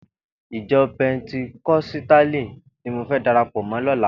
Ijò pèntíkòsítáli ni mó fè dàrápò mò lòlá